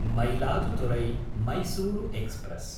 मयिलादुथुरै–मैसूरु express